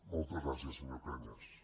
moltes gràcies senyor cañas